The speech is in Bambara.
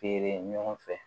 Feere ɲɔgɔn fɛ